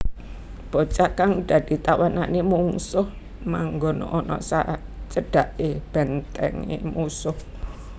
Bocah kang dadi tawanané mungsuh manggon ana sajedhaké bèntèngé mungsuh